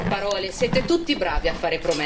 Ma oggi resta solo un sogno.